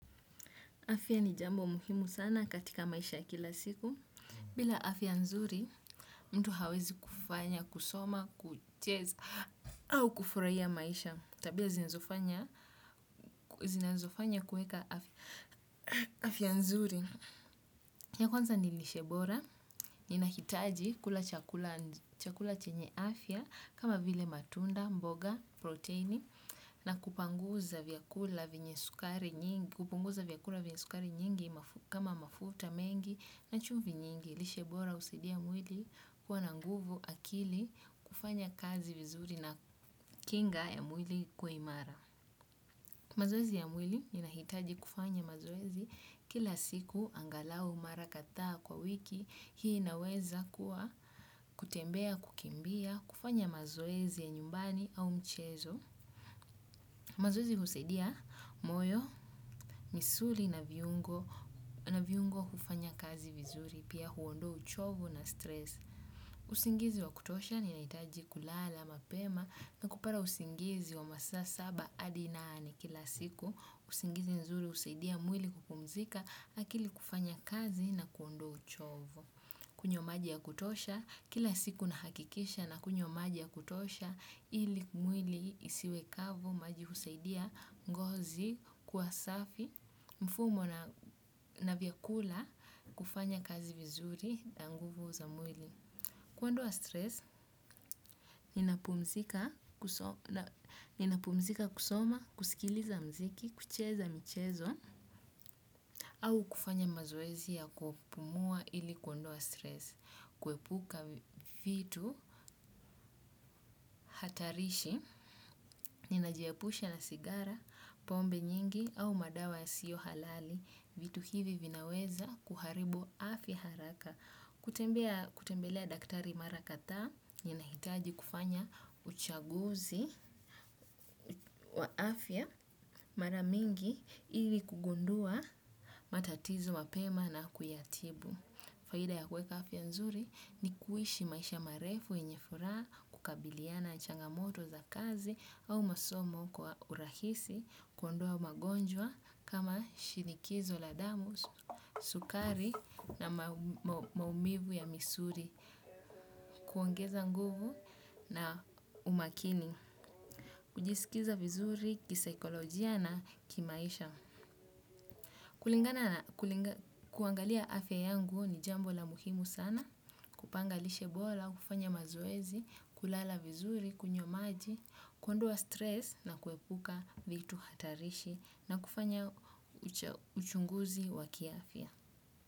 Afya ni jambo muhimu sana katika maisha kila siku. Bila afya nzuri, mtu hawezi kufanya kusoma, kucheza, au kufurahia maisha. Tabia zinazofanya kuweka afya nzuri. Ya kwanza ni lishe bora, ninahitaji kula chakula chenye afya, kama vile matunda, mboga, proteini, na kupanguza vyakula vyenye sukari nyingi, kupunguza vyakula vyenye sukari nyingi kama mafuta mengi na chumvi nyingi. Lishe bora husaidia mwili kuwa na nguvu akili kufanya kazi vizuri na kinga ya mwili kuwa imara. Mazoezi ya mwili inahitaji kufanya mazoezi kila siku angalau mara kadhaa kwa wiki. Hii inaweza kuwa kutembea kukimbia kufanya mazoezi ya nyumbani au mchezo. Mazoezi husaidia moyo, misuli na viungo na viungo kufanya kazi vizuri, pia huondoa uchovu na stress. Usingizi wa kutosha ninahitaji kulala, mapema, na kupata usingizi wa masaa saba hadi nane kila siku. Usingizi nzuri husaidia mwili kupumzika akili kufanya kazi na kuondoa uchovu. Kunywa maji ya kutosha, kila siku nahakikisha nakunywa maji ya kutosha, ili mwili isiwe kavu maji husaidia, ngozi, kuwa safi, mfumo na vyakula, kufanya kazi vizuri na nguvu za mwili. Kuondoa stress, ninapumzika kuso, ninapumzika kusoma kusikiliza mziki, kucheza michezo, au kufanya mazoezi ya kupumua ili kuondoa stress. Kuepuka vitu hatarishi, ninajiepusha na sigara, pombe nyingi, au madawa yasiyo halali, vitu hivi vinaweza kuharibu afya haraka. Kutembelea daktari mara kadhaa ninahitaji kufanya uchaguzi wa afya mara mingi ili kugundua matatizo mapema na kuyatibu. Faida ya kuweka afya nzuri ni kuishi maisha marefu yenye furaha kukabiliana na changamoto za kazi au masomo kwa urahisi kuondua magonjwa kama shinikizo la damu, sukari na maumivu ya misuli kuongeza nguvu na umakini. Kujisikiza vizuri kisaikolojia na kimaisha. Kulingana na kuangalia afya yangu ni jambo la muhimu sana. Kupanga lishe bola, kufanya mazoezi, kulala vizuri, kunywa maji kuondoa stress na kuepuka vitu hatarishi na kufanya uchunguzi wa kiafya.